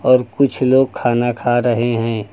और कुछ लोग खाना खा रहे हैं।